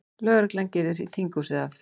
Lögreglan girðir þinghúsið af